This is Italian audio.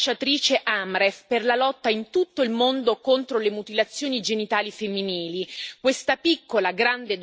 Oggi Nice è ambasciatrice Amref per la lotta in tutto il mondo contro le mutilazioni genitali femminili.